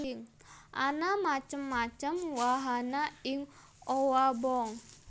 Ana macem macem wahana ing owabong